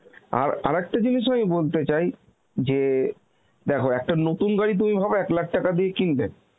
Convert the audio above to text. আর আরেকটা জিনিস ও আমি বলতে চাই যে দেখো একটা নতুন গাড়ি তুমি ভাবো এক lakh টাকা দিয়ে কিনলে